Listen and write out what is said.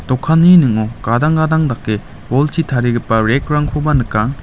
dokanni ning·o gadang gadang dake bolchi tarigipa rack-rangkoba nika.